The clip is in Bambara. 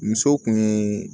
Musow kun ye